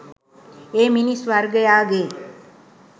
ඒ මිනිස් වර්ගයාගේ